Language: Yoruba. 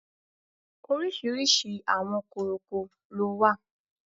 Orísìírísìí àwọn kòròkò ló wà